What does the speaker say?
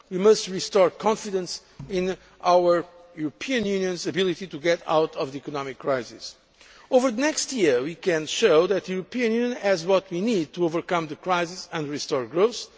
we must restore confidence in our European Union's ability to get out of the economic crisis. Over the next year, we can show that the European Union has what we need to overcome the crisis and restore growth.